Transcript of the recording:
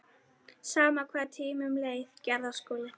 Sama hvað tímanum leið.